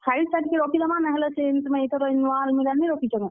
File ଥାକ୍ ଥି ରଖିଦେମା, ନାହେଲେ ସେ ତୁମେ ଇଥର ଜେନ୍ ନୁଆ ଆଲମିରା ନି ରଖିଛ କେଁ।